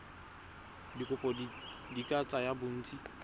dikopo di ka tsaya bontsi